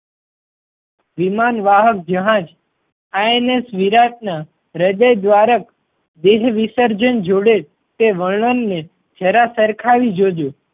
વિમાન વાહક જહાજ. INS વિરાટ ના હદય દ્વારક દેહ વિસર્જન જોડે તે વર્ણન ને જરા સરખાવી જોજો.